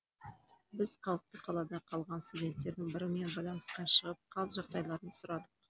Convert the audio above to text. біз қауіпті қалада қалған студенттердің бірімен байланысқа шығып қал жағдайларын сұрадық